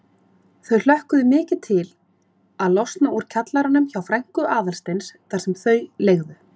Þau hlökkuðu mikið til að losna úr kjallaranum hjá frænku Aðalsteins þar sem þau leigðu.